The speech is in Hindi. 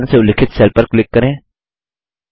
सी10 से उल्लिखित सेल पर क्लिक करें